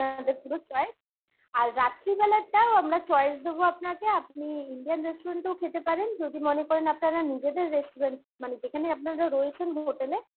পুরো choice আর রাত্রিবেলার টাও আমরা choice দেবো আপনাকে আপনি Indian restaurant এও খেতে পারেন যদি মনে করেন আপনারা নিজেদের restaurant মানে যেখানে আপনারা রয়েছেন hotel এ